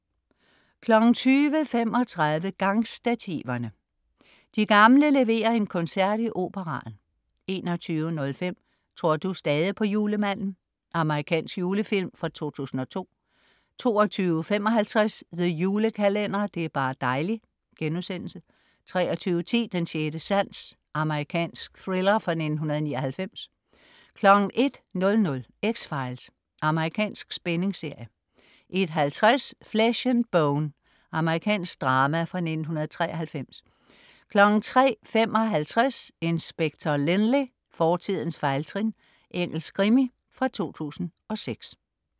20.35 Gangstativerne. De gamle leverer en koncert i Operaen 21.05 Tror du stadig på julemanden? Amerikansk julefilm fra 2002 22.55 The Julekalender. Det er bar' dejli' * 23.10 Den sjette sans. Amerikansk thriller fra 1999 01.00 X-Files. Amerikansk spændingsserie 01.50 Flesh and Bone. Amerikansk drama fra 1993 03.55 Inspector Lynley - fortidens fejltrin. Engelsk krimi fra 2006